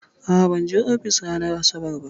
A'a, ban je ofis ranar asabar ba.